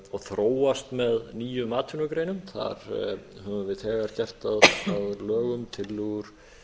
og þróast með nýjum atvinnugreinum þar höfum við þegar gert að lögum tillögur